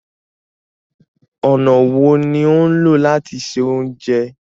Ọnà wo ni o ń lọ lati ṣẹ ọ̀unjẹ?